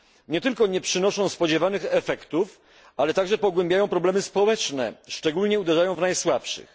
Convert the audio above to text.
Nie tylko nie przynoszą spodziewanych efektów, ale także pogłębiają problemy społeczne, szczególnie uderzając w najsłabszych.